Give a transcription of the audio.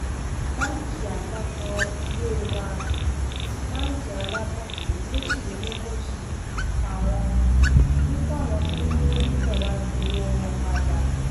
báńkì àpapọ ilé wa tí báńkì alábọọdẹ méjìlélógójì pa wọn ní káwọn tó lowó níbẹ wàá gbowó wọn padà